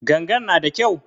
Gangan na da kyau?